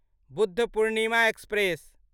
Budh Purnima express